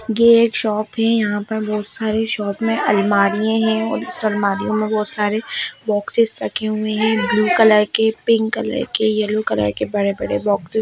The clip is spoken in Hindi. ये एक शॉप है यहाँ पे बहुत सारी शॉप में अलमारीये हैं और इस अलमारियों में बहुत सारे बॉक्सेस रखे हुए हैं| ब्लू कलर के पिंक कलर के येल्लो कलर के बड़े-बड़े बॉक्सेस |